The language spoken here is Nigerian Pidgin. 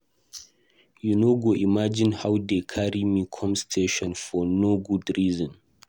You no go imagine how dey carry me come station for no good reason.